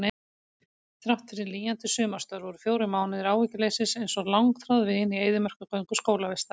Þráttfyrir lýjandi sumarstörf voru fjórir mánuðir áhyggjuleysis einsog langþráð vin í eyðimerkurgöngu skólavistar.